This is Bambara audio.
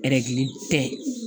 tɛ